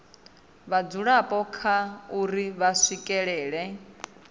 vhadzulapo kha uri vha swikelela